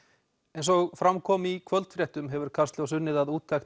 eins og fram kom í kvöldfréttum hefur Kastljós unnið að úttekt